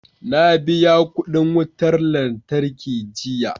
Na biya kudin wutar lantarki jiya